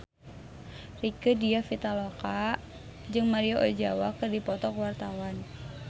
Rieke Diah Pitaloka jeung Maria Ozawa keur dipoto ku wartawan